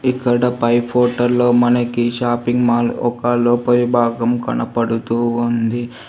ఇక్కడ పై ఫోటోలో మనకి షాపింగ్ మాల్ ఒక రూపాయి భాగం కనపడుతూ ఉంది.